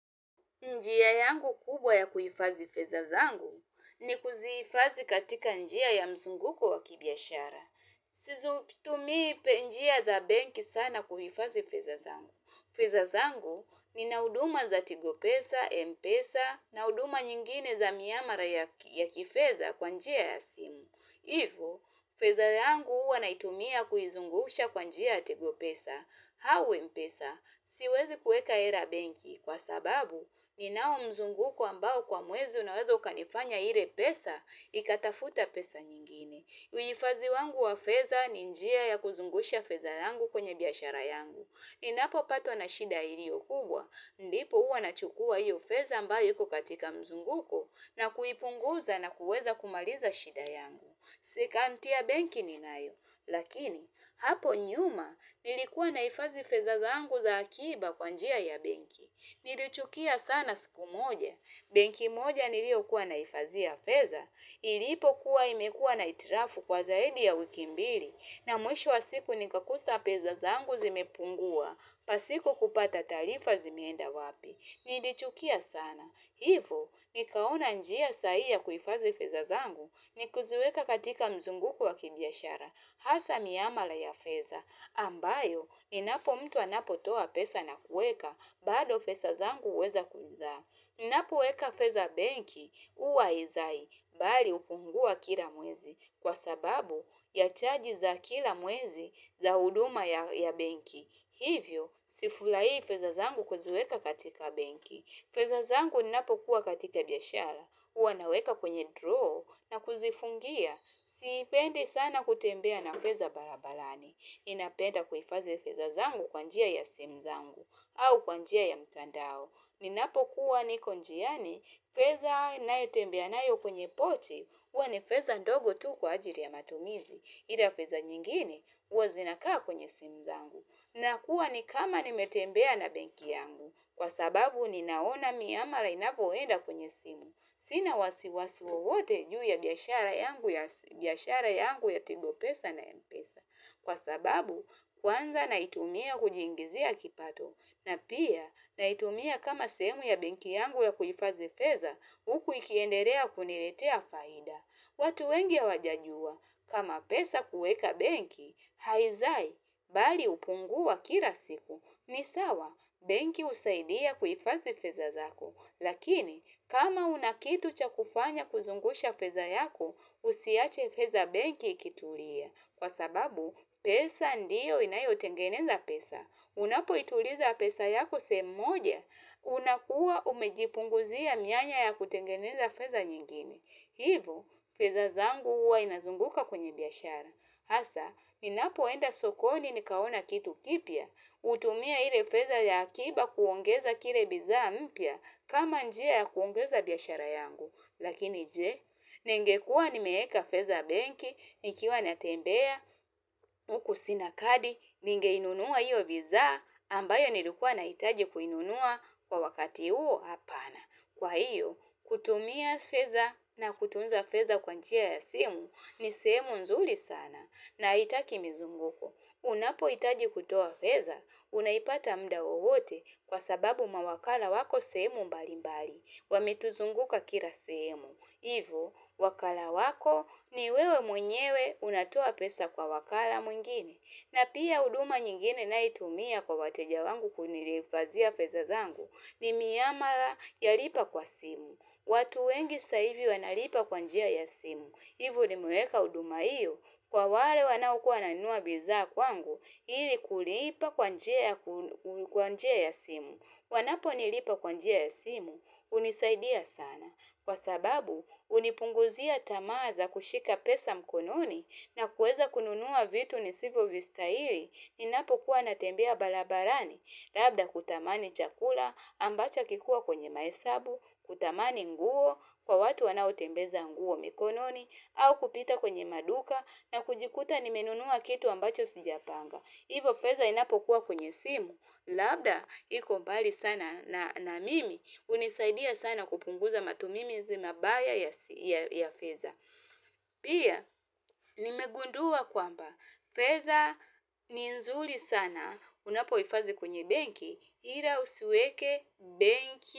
Njia yangu kubwa ya kuhifadhi fedha zangu ni kuzifadhi katika njia ya mzunguko wa kibiashara. Sizu tumii njia za benki sana kuhifadhi fedha zangu. Fedha zangu ni nahuduma za tigo pesa, mpesa nahuduma nyingine za miamara ya kifedha kwanjia ya simu. Ivo, fedha yangu huwa naitumia kuizungusha kwanjia ya tigopesa. Au mpesa, siwezi kuweka hela benki kwa sababu ni nao mzunguko ambao kwa mwezi unaweza ukanifanya ile pesa, ikatafuta pesa nyingine. Uhifadhi wangu wafedha ninjia ya kuzungusha fedha yangu kwenye biashara yangu. Ninapo patwa na shida iliyo kubwa, ndipo huwa nachukua hiyo fedha ambayo iko katika mzunguko na kuipunguza na kuweza kumaliza shida yangu. Si akaunti ya benki ni nayo, lakini hapo nyuma nilikuwa nahifadhi fedha zangu za akiba kwanjia ya benki. Nilichukia sana siku moja, benki moja nilio kuwa nahifadhia fedha, ilipo kuwa imekuwa na hitilafu kwa zaidi ya wiki mbili, na mwisho wa siku nikakuta fedhazangu zimepungua, pasiko kupata taarifa zimeenda wapi. Nilichukia sana. Hivo, nikaona njia sahihi ya kuhifadhi fedhazangu ni kuziweka katika mzunguko wa kibiashara. Hasa miamala ya fedha. Ambayo, ninapo mtu anapo toa pesa na kuweka, bado fedhazangu huweza kuzaa. Ninapo weka fedha benki huwa haizai, bali hupungua kila mwezi. Kwa sababu, yachaji za kila mwezi za huduma ya benki. Hivyo, sifurahii fedhazangu kuziweka katika benki. Fedhazangu ninapokuwa katika biashara. Huwanaweka kwenye draw na kuzifungia. Sipendi sana kutembea na fedha barabarani. Ninapenda kuhifadhi fedhazangu kwanjia ya simu zangu au kwanjia ya mtandao. Ninapokuwa nikonjiani. Fedha nayotembea nayo kwenye pochi. Huwani fedha ndogo tu kwa ajili ya matumizi. Ila fedha nyingine huwa zinakaa kwenye simu zangu. Nakuwa ni kama nimetembea na benki yangu kwa sababu ninaona miamala inapoenda kwenye simu. Sina wasiwasi wowote juu ya biashara yangu ya tigopesa na mpesa. Kwa sababu kwanza naitumia kujiingizia kipato na pia naitumia kama sehemu ya benki yangu ya kuhifadhifedha hukuikiendelea kuniletea faida. Watu wengi hawajajua, kama pesa kuweka benki, haizai, bali hupungua kila siku. Ni sawa, benki husaidia kuhifadhi fedha zako. Lakini, kama hunakitu cha kufanya kuzungusha fedha yako, usiache fedha benki ikitulia. Kwa sababu, pesa ndio inayo tengeneza pesa. Unapo ituliza pesa yako sehemu moja, unakuwa umejipunguzia mianya ya kutengeneza fedha nyingine. Hivo, fedhazangu huwa inazunguka kwenye biashara. Hasa, ninapoenda sokoni nikaona kitu kipya, hutumia ile fedha ya akiba kuongeza kila bidhaa mpya kama njia ya kuongeza biashara yangu. Lakini je, ningekuwa nimeeka fedhabenki, nikiwa natembea, hukusina kadi, ninge inunua hiyo bidhaa, ambayo nilikuwa nahitaji kuinunua kwa wakati huo apana. Kwa hiyo, kutumia fedha na kutunza fedha kwa njia ya simu ni sehemu nzuri sana na haitaki mizunguko. Unapohitaji kutoa fedha, unaipata mda wowote kwa sababu mawakala wako sehemu mbali mbali, wa metuzunguka kila sehemu. Hivo, wakala wako ni wewe mwenyewe unatoa pesa kwa wakala mwingine. Na pia huduma nyingine ninae itumia kwa wateja wangu kunilifadhia fedha zangu. Ni miamala ya lipa kwa simu. Watu wengi sasa hivi wanalipa kwanjia ya simu. Hivo ni meweka huduma hiyo. Kwa wale wanaokuwa wananua bidhaa kwangu ili kulipa kwanjia ya simu. Wanapo ni lipa kwanjia ya simu. Hunisaidia sana. Kwa sababu, hunipunguzia tamaa za kushika pesa mkononi na kueza kununua vitu ni sivo vista hili. Ninapo kuwa natembea barabarani, labda kutamani chakula ambacha hakikuwa kwenye mahesabu, kutamani nguo kwa watu wanao tembeza nguo mikononi, au kupita kwenye maduka na kujikuta nimenunua kitu ambacho sijapanga. Hivo. Fedha inapo kuwa kwenye simu, labda iko mbali sana na mimi, hunisaidia sana kupunguza matumimizi mabaya ya fedha. Pia, nimegundua kwamba, fedha ni nzuri sana, unapo hifadhi kwenye benki, ila usiweke benki.